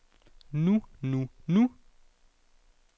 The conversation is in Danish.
nu nu nu